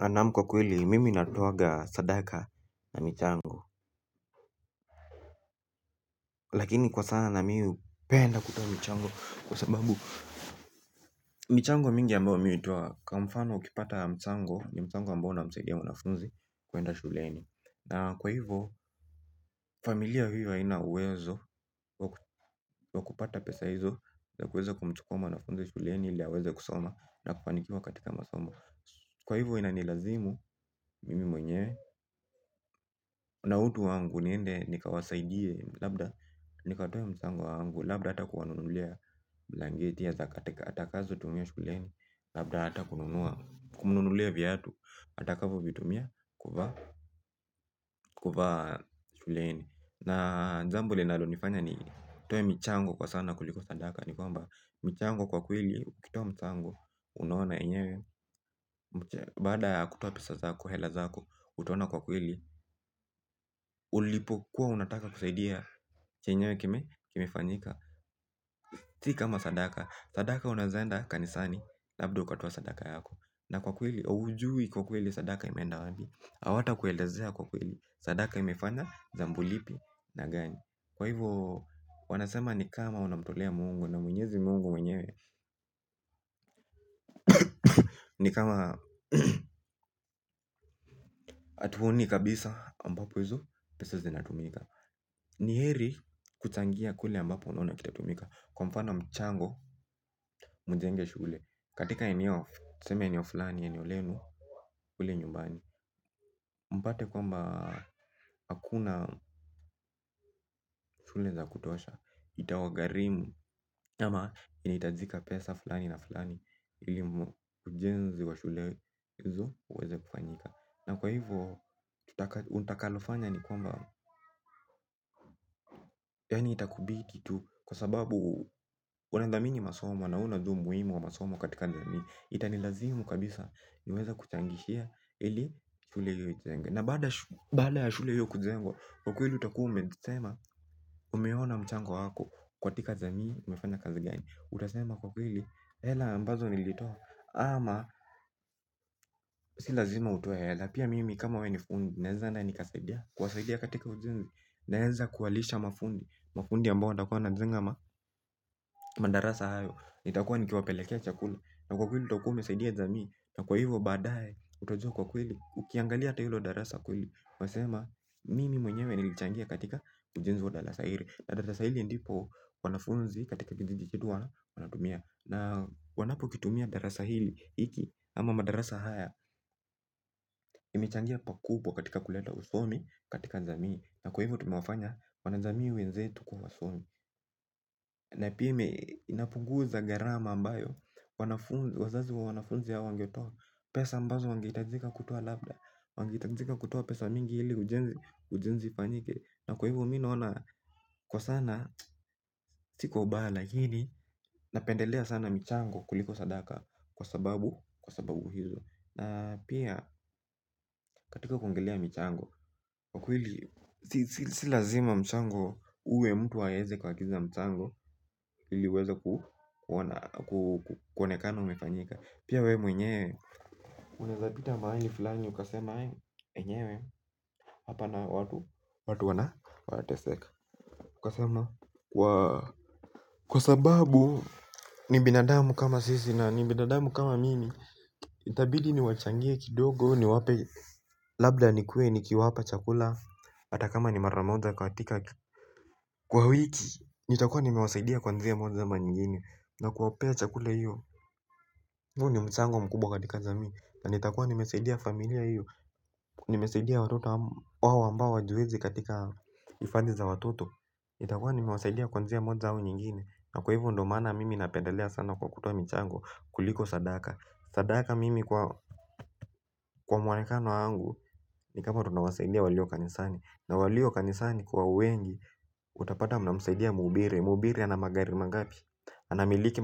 Anamu kwa kweli mimi natoaga sadaka na michango lakini kwa sana na mimi hupenda kutoa mchango kwa sababu michango mingi ambao mimi hutoa kwa mfano ukipata mchango ni mchango ambao unamsaidia mwanafunzi kueanda shuleni kwa hivo familiana huwa haina uwezo waku wa kupata pesa hizo za kuweze kumchukoma wanafunzi shuleni ili haweze kusoma na kufanikiwa katika masomo. Kwa hivyo inanilazimu, mimi mwenyewe, na utu wangu niende, nikawasaidie, labda, nikatoe mchango wangu, labda hata kuwanunulia blangeti ya zakatika, atakazo tumia shuleni, labda hata kumnunulia viatu, atakavo vitumia, kuvaa, kuvaa shuleni. Na jambo linalonifanya nitoe michango kwa sana kuliko sadaka. Ni kwamba, michango kwa kweli, ukitoa msango, unaona enyewe. Baada kutoa pesa zako, hela zako, utaona kwa kweli. Ulipo kuwa unataka kusaidia chenyewe kimefanyika. Si kama sadaka, sadaka unaezaenda kanisani, labda ukatoa sadaka yako. Na kwa kweli, ujui kwa kweli sadaka imenda wapi. Awata kuelezea kwa kweli, sadaka imefanya, jambo lipi, na gani. Kwa hivyo, wanasema ni kama unamtolea mungu na mwenyezi mungu mwenyewe. Ni kama atuoni kabisa ambapo hizo pesa zinatumika. Ni heri kutangia kule ambapo unaonakitatumika. Kwa mfano mchango mjenge shule. Katika eneo, tuseme enio fulani eneo lenu ule nyumbani. Mpate kwamba hakuna shule za kutosha. Itawagarimu ama inaitajika pesa fulani na fulani ilimu ujenzi wa shulezo uweze kufanyika na kwa hivyo untakalofanya ni kwamba yani itakubidi tu kwa sababu unandhamini masomo na unaujua muhimu wa masomo katika jamii itani lazimu kabisa niweza kuchangishia ili shule hiyo ijenge na baada ya shule hiyo kujengwa kwa kweli utakuu umesema umeona mchango hako kwa tika zami umefana kazi gani utasema kwa kweli hela mbazo nilito ama si lazima utoe. Lapia mimi kama we ni fundi naeza na nikasaidia kuwasaidia katika ujindi. Naeza kuwalisha mafundi. Mafundi ambao watakuwa wanajenga. Madarasa hayo. Itakuwa nikiwapelekea chakula. Na kwa kwili utokuwa umesaidia jami. Na kwa hivyo badaye utajua kwa kwili. Ukiangalia ata hilo darasa kwili nasema mimi mwenyewe nilichangia katika ujenzi wa darasa hili. Na darasa hili ndipo wanafunzi katika kijiji kitu wanatumia. Na wanapo kitumia darasa hili. Iki ama madarasa haya. Imechangia pakubwa katika kuleta usomi. Katika jamii. Na kwa hivo tumewafanya wanajamii wenzetu kuwa wasomi. Na pime inapunguza garama ambayo wazazi wa wanafunzi ya wangetoa pesa mbazo wangeitajika kutua labda wangeitajika kutoa pesa mingi hili ujenzi ujenzi fanyike. Na kwa hivo mi naona. Kwa sana si kwa ubaya lakini napendelea sana michango kuliko sadaka. Kwa sababu kwa sababu hizo na pia katika kuongelea michango wakwili silazima mchango uwe mtu waeze kwa kiza mchango hiliweza ku kuonekana umefanyika pia we mwenyewe uneza pita mahali fulani ukasema enyewe hapa nao watu watu wana wataseka ukasema kwa sababu na ni binadamu kama mi itabidi niwachangie kidogo ni wape labda nilkuwe nikiwapa chakula hata kama ni maramoja katika kwa wiki nitakuwa nimmewasaidia kwa njia ama nyingine na kuwapea chakula hiyo huu ni mchango mkubwa katika jamii na nitakuwa nimesaidia familia hiyo. Nimesaidia watoto wawo ambao wajwezi katika ifadhi za watoto nitakuwa nimewasaidia kwa njoia moja ama nyingine na kwa hivyo ndio sababu napendekea sana kwa kutoa michango kuliko sadaka, sadaka mimi kwa mwonekano wangu. Ni kama tunawasaidia walio kanisani. Na walio kanisani kwa uwengi. Utapata mnamusaidia mubire. Muhubiri ana magari mangapi. Anamiliki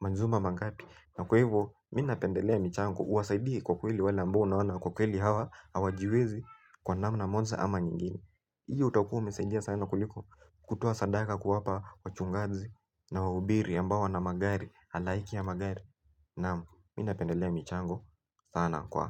majumba mangapi. Na kwa hivo mi napendelea michango. Uwasaidi kwa kweli wale amboa unaona. Kwa kweli hawa awajiwezi. Kwa namna moja ama nyingini. Hiyo utakuu msaidia sana kuliko kutoa sadaka kuwapa wachungaji. Na wubire ambao wana magari alaiki ya magari. Na minapendelea michango sana kwa.